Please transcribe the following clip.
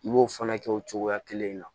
I b'o fana kɛ o cogoya kelen na